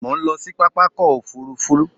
Mo ń lọ sí pápá ọkọ òfuurufú